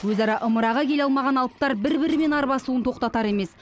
өзара ымыраға келе алмаған алыптар бір бірімен арбасуын тоқтатар емес